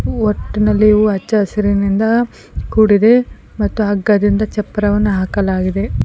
ಒಟ್ಟಿನಲ್ಲಿ ಇವು ಅಚ್ಚಾ ಹಸಿರಿನಿಂದ ಕೂಡಿದೆ ಮತ್ತು ಹಗ್ಗದಿಂದ ಚಪ್ರವನು ಹಾಕಲಾಗಿದೆ.